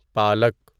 پالک